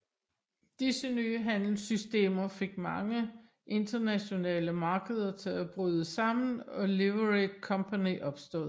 Disse nye handelssystemer fik mange internationale markeder til at bryde sammen og Livery Company opstod